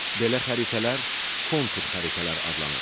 Belə xəritələr kontur xəritələr adlanır.